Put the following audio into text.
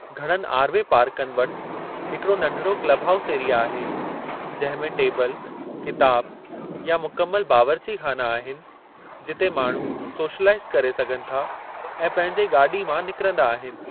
घणनि आर वे पार्कनि वटि हिकड़ो नढिड़ो क्लब हाऊस एरिया आहे जंहिं में टेबल, किताब, या मुकमिलु बावर्ची ख़ाना आहिनि जिते माण्हू सोशलाईज़ करे सघनि था ऐं पंहिंजे गाॾी मां निकिरंदा आहिनि।